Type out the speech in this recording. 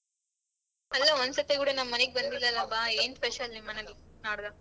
ಅಲ್ಲ ಒಂದ್ ಸತಿ ಕೂಡ ನಮ್ಮನೇಗ್ ಬಂದಿಲ್ಲಲ್ಲ ಬಾ ಏನ್ special ನಿಮ್ಮನೇಲಿ ನಾಡ್ದ?